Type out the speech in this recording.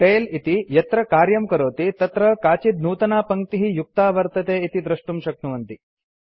tail इति यत्र कार्यं करोति तत्र काचित् नूतना पङ्क्तिः युक्ता वर्तते इति द्रष्टुं शक्नुवन्ति